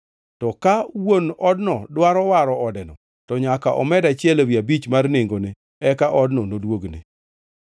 To ka wuon odno dwaro waro odeno, to nyaka omed achiel ewi abich mar nengone, eka odno noduogne.